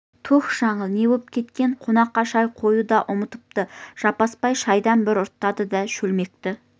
түһ жаңыл не боп кеткен қонаққа шай құюды да ұмытыпты жаппасбай шайдан бір ұрттады да шөлмекті